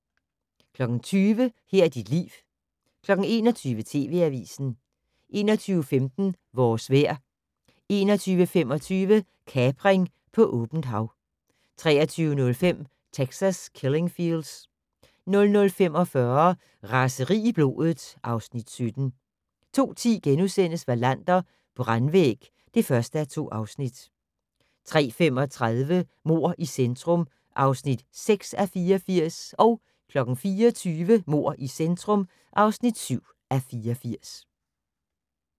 20:00: Her er dit liv 21:00: TV Avisen 21:15: Vores vejr 21:25: Kapring på åbent hav 23:05: Texas Killing Fields 00:45: Raseri i blodet (Afs. 17) 02:10: Wallander: Brandvæg (1:2)* 03:35: Mord i centrum (6:84) 04:20: Mord i centrum (7:84)